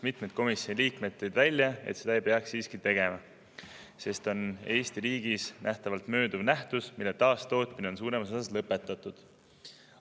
Mitmed komisjoni liikmed tõid välja, et seda ei peaks siiski tegema, sest on Eesti riigis mööduva nähtusega, mille taastootmine on suuremas osas lõpetatud.